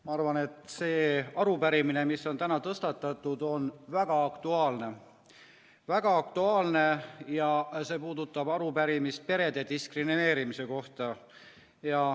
Ma arvan, et see arupärimine, mis on täna tõstatatud, on väga aktuaalne, ja see puudutab perede diskrimineerimist.